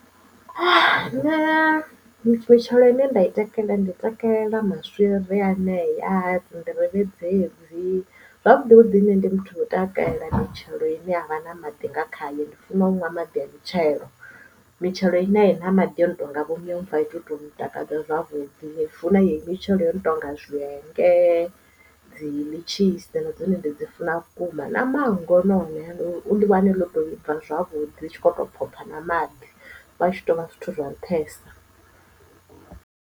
Nṋe mitshelo ine nda i takalela ndi takalela maswiri anea dzi nḓirivhe dzedzi zwavhuḓi vhuḓi nṋe ndi muthu wa u takalela mitshelo ine yavha na maḓi nga khayo ndi funa unwa a maḓi a mitshelo mitshelo ine aina maḓi o no tonga vho miomva ai tu to ntakadza zwavhuḓi funa ye mitshelo yono tonga zwienge, dzi litshisa na dzone ndi dzi funa vhukuma na manngo naone ndi wane ḽo to bva zwavhuḓi zwi tshi kho to bva na maḓi wa tshi tonga zwithu zwa nṱhesa.